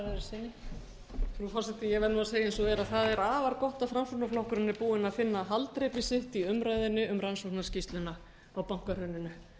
frú forseti ég verð að segja eins og er að það er afar gott að framsóknarflokkurinn er búinn að finna haldreipi sitt í umræðunni um rannsóknarskýrsluna á bankahruninu